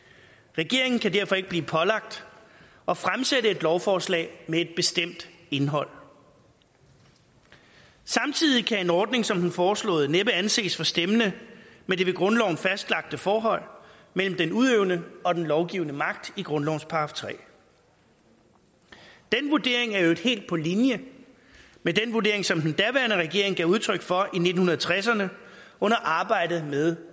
regeringen kan derfor ikke blive pålagt at fremsætte et lovforslag med et bestemt indhold samtidig kan en ordning som den foreslåede næppe anses for stemmende med det ved grundloven fastlagte forhold mellem den udøvende og den lovgivende magt i grundlovens § tredje den vurdering er i øvrigt helt på linje med den vurdering som den daværende regering gav udtryk for i nitten tresserne under arbejdet med